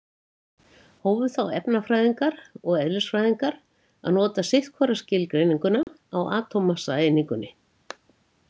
Hófu þá efnafræðingar og eðlisfræðingar að nota sitt hvora skilgreininguna á atómmassaeiningunni.